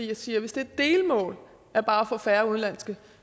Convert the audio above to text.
jeg siger at hvis det er et delmål bare at få færre udenlandske